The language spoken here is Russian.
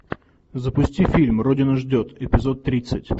запусти фильм родина ждет эпизод тридцать